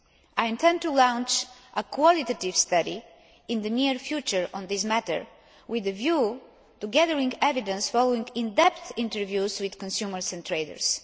I intend to launch a qualitative study in the near future on this matter, with a view to gathering evidence following in depth interviews with consumers and traders.